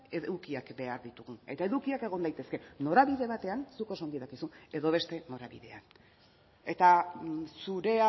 edukiak behar ditugu eta edukiak egon daitezke norabide batean zuk oso ongi dakizu edo beste norabidean eta zure